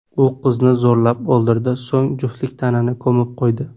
U qizni zo‘rlab, o‘ldirdi, so‘ng juftlik tanani ko‘mib qo‘ydi.